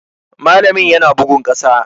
Malamin yana bugun ƙasa.